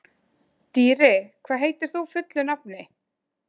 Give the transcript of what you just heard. Dýri, hvað heitir þú fullu nafni?